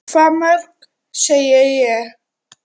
Hvað mörg, segi ég.